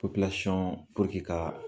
ka